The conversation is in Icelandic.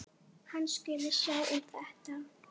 Afi er algert æði.